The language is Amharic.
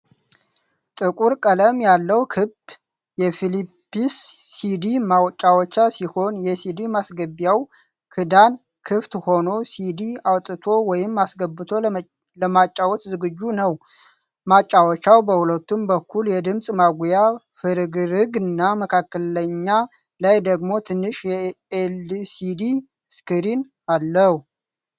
ጥቁር ቀለም ያለው ክብ የፊሊፕስ ሲዲ ማጫወቻ ሲሆን የሲዲ ማስገቢያው ክዳን ክፍት ሆኖ ሲዲ አውጥቶ ወይም አስገብቶ ለማጫወት ዝግጁ ነው። ማጫወቻው በሁለቱም በኩል የድምጽ ማጉያ ፍርግርግና መካከለኛ ላይ ደግሞ ትንሽ የኤልሲዲ ስክሪን አለው።